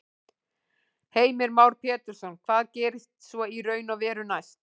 Heimir Már Pétursson: Hvað gerist svo í raun og veru næst?